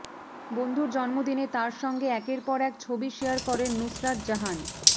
বন্ধুর জন্মদিনে তাঁর সঙ্গে একের পর এক ছবি শেয়ার করেন নুসরত জাহান